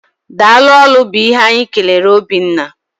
Daalụ ólú bu ihe anyị kelere Obiọma.